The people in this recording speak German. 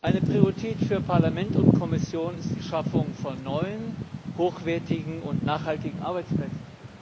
Eine Priorität für Parlament und Kommission ist die Schaffung von neuen, hochwertigen und nachhaltigen Arbeitsplätzen.